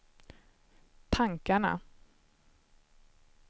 tankarna